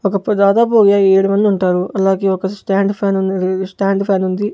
ఒకప్పుడు దాదాపు ఏ ఏడు మందుంటారు అలాగే ఒక స్టాండ్ ఫ్యాన్ ఉంది స్టాండ్ ఫ్యాన్ ఉంది.